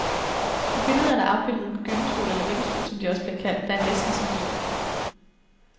På billedet er der afbildet en gyngestol eller vippestol som de også bliver kaldt, der er næsten som din.